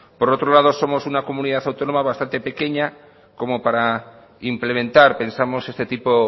por otro lado somos una comunidad autónoma bastante pequeña como para implementar pensamos este tipo